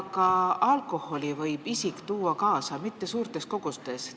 Ka alkoholi võib kaasa tuua mitte suurtes kogustes.